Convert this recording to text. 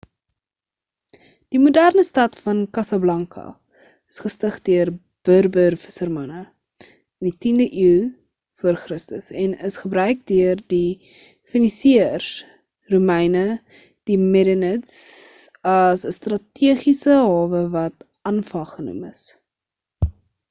die moderne stad van casablanca is gestig deur berber vissermanne in die 10de eeu vc en is gebruik deur die fenisiërs romeine en die merenids as 'n stategiese hawe wat anfa genoem is